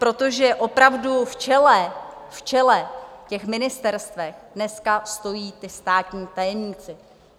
Protože opravdu v čele těch ministerstev dneska stojí ti státní tajemníci.